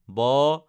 ব